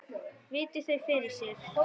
Virti þau fyrir sér.